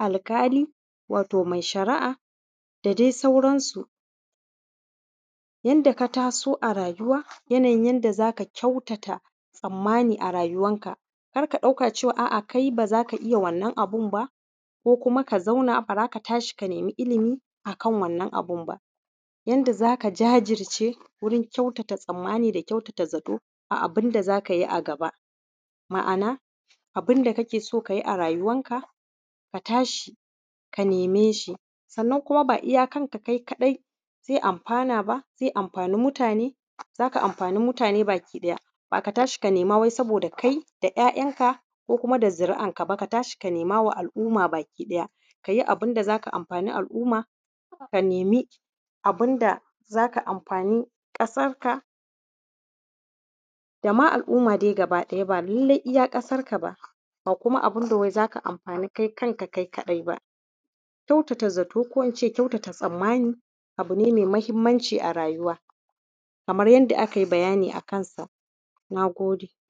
alƙali wato mai shara'a da dai sauransu yadda ka taso a rayuwa yanayin yadda za ka kyautata tsammani a rayuwan ka kar ka ɗauka cewa a'a kai ba za ka iya wannan abun ba ko kuma ka zauna ka ce ba za ka tashi ka nemi ilimin a kan wannan abun ba yanda za ka jajirce gurin kyautata tsammani da kyautata zato a abun da za ka yi a gaba ma'ana abunda ka ke so ka yi a rayuwan ka ka tashi ka neme shi sannan kuma ba iya kan kai kaɗai zai amfana ba zai amfana ba zai amfani mutane za ka amfani mutane baki ɗaya ba ka tashi ka nema wai saboda kai da ‘ya’yanka ko da zuri'an ka gaba ɗaya ka tashi ka nema wa al’umma gaba ɗaya ka yi abun da za ka amfani alumma ka nemi abun da zai amfani ƙasar ka da ma dai al’umma gaba ɗaya ba lallai iya ƙasar ka ba ba kuma abun da wai za ka amfani kai kanka kai kaɗai ba kyautata zato ko kuma ince kyautata tsammani abu ne mai muhimmanci a rayuwa kamar yanda a kai bayani a kan sa na gode